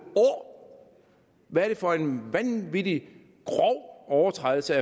år hvad er det for en vanvittig grov overtrædelse